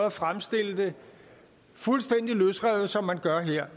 at fremstille det fuldstændig løsrevet som man gør her